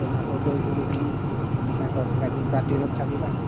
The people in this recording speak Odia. ମାଉଁସ ଭାତ ଦେଇକରି ଫେନି ତାଙ୍କର ଲାଗି party ରଖାଯିବ